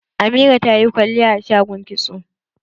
Amira ta yi kwalliya a shagon kitso.